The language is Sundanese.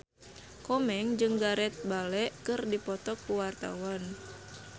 Komeng jeung Gareth Bale keur dipoto ku wartawan